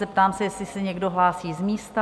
Zeptám se, jestli se někdo hlásí z místa?